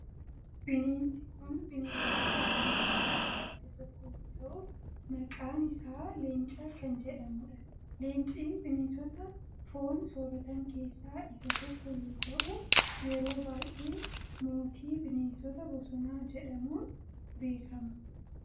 Bineensi kun bineensota bosonaa keessaa isa tokko yoo ta'u maqaan isaa Leenca kan jedhamudha. Leencii bineensota foon sooratan keessaa isa tokko yoo ta'u yeroo baayyee mootii bineensota bosonaa jedhamun beekaama.